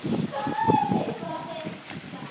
Hvað er djass?